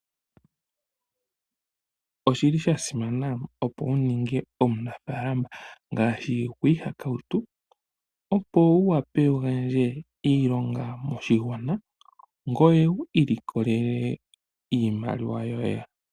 Oshili sha simana opo wuninge omunafaalama ngaashi gwiihakautu opo wu vule wugandje iilonga moshigwana ngoye wu ilikolele iimaliwa yoye.